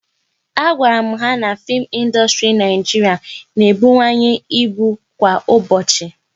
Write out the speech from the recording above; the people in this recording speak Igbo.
A gwara m ha na fim ịndustri Naijiria na-ebuwanye ịbụ kwa ụbọchị